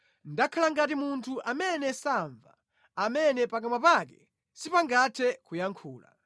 Ndakhala ngati munthu amene samva, amene pakamwa pake sipangathe kuyankha.